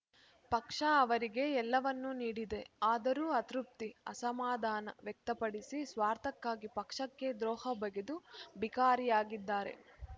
ಪಕ್ಷ ಅವರಿಗೆ ಎಲ್ಲವನ್ನೂ ನೀಡಿದೆ ಆದರೂ ಅತೃಪ್ತಿ ಅಸಮಾಧಾನ ವ್ಯಕ್ತಪಡಿಸಿ ಸ್ವಾರ್ಥಕ್ಕಾಗಿ ಪಕ್ಷಕ್ಕೆ ದ್ರೋಹಬಗೆದು ಬಿಕರಿಯಾಗಿದ್ದಾರೆ